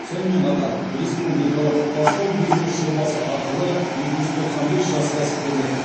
сонымен қатар республикалық бастау бизнес жобасы арқылы екі жүз тоқсан бес жас кәсіпкерлік